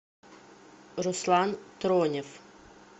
руслан тронев